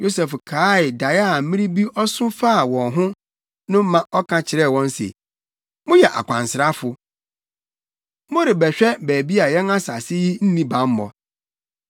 Yosef kaee dae a mmere bi ɔso faa wɔn ho no ma ɔka kyerɛɛ wɔn se, “Moyɛ akwansrafo! Morebɛhwɛ baabi a yɛn asase yi nni bammɔ.”